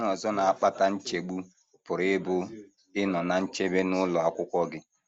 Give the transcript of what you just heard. Ihe ọzọ na - akpata nchegbu pụrụ ịbụ ịnọ ná nchebe n’ụlọ akwụkwọ gị.